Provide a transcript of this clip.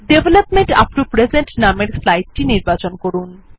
development up to present নামের slide টি নির্বাচন করুন